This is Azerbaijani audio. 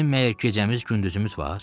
Bizim məgər gecəmiz, gündüzümüz var?